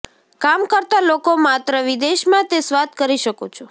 કામ કરતા લોકો માત્ર વિદેશમાં તે સ્વાદ કરી શકો છો